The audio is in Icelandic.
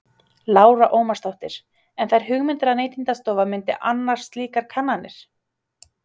Lára Ómarsdóttir: En þær hugmyndir að Neytendastofa myndi annast slíkar kannanir?